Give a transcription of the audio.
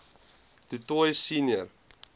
du toit senior